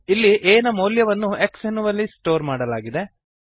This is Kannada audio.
ಇಲ್ಲಿ a ನ ಮೌಲ್ಯವನ್ನು x ಎನ್ನುವಲ್ಲಿ ಸ್ಟೋರ್ ಮಾಡಲಾಗಿದೆ